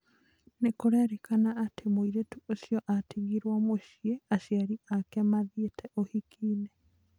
Nĩkũrerĩkana atĩ mũirĩtu ũcio atigirwo mũcĩĩ aciari aje mathĩite ũhiki-inĩ